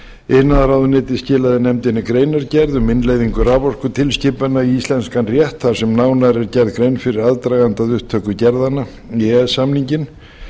iðnaðarráðuneytið skilaði nefndinni greinargerð um innleiðingu raforkutilskipunar í íslenskan rétt þar sem nánar er gerð grein fyrir aðdraganda að upptöku gerðanna í e e s samninginn